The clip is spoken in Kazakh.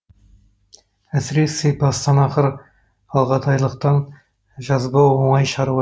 әсіресе бастан ақыр алғадайлықтан жазбау оңай шаруа